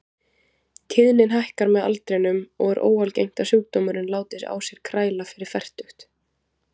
Tíðnin hækkar með aldrinum og er óalgengt að sjúkdómurinn láti á sér kræla fyrir fertugt.